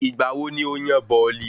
Ìgbà wo ni o yan bọ̀ọ̀lì?